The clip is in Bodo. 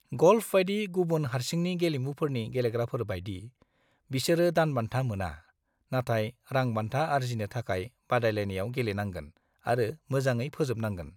ग'ल्फ बायदि गुबुन हारसिंनि गेलेमुफोरनि गेलेग्राफोर बायदि, बिसोरो दानबान्था मोना, नाथाय रां बान्था आरजिनो थाखाय बादायलायनायाव गेलेनांगोन आरो मोजाङै फोजोबनांगोन।